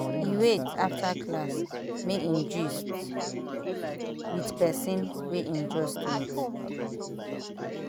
e wait after class make im gist with person wey im just meet